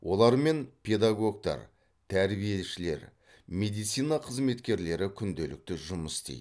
олармен педагогтар тәрбиешілер медицина қызметкерлері күнделікті жұмыс істейді